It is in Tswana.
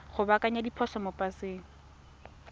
go baakanya diphoso mo paseng